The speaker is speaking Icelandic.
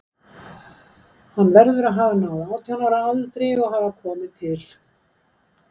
Hann verður að hafa náð átján ára aldri og hafa komið til